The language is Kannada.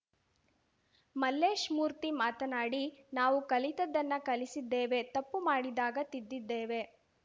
ಮಲ್ಲೇಶ್‌ಮೂರ್ತಿ ಮಾತನಾಡಿ ನಾವು ಕಲಿತದ್ದನ್ನು ಕಲಿಸಿದ್ದೇವೆ ತಪ್ಪು ಮಾಡಿದಾಗ ತಿದ್ದಿದ್ದೇವೆ